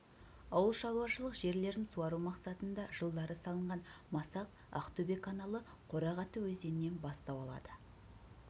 ауыл шаруашылық жерлерін суару мақсатында жылдары салынған масақ ақтөбе каналы қорағаты өзенінен бастау алады